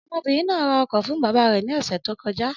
Ọmọbìnrin náà ra ọkọ fún bàbá rẹ̀ ní ọ̀sẹ̀ tó kọjá.